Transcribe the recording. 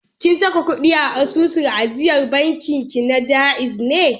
Kin saka ƙuɗi a asusun ajiyar bankin ki na Ja'iz ne?